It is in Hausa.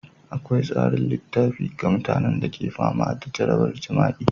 Akwai tsarin tallafi ga mutanen da ke fama da jarabar jima'i,